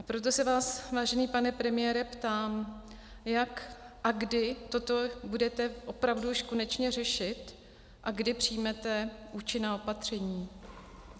A proto se vás, vážený pane premiére, ptám, jak a kdy toto budete opravdu už konečně řešit a kdy přijmete účinná opatření?